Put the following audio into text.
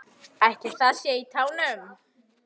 Ætli það sé í tánum?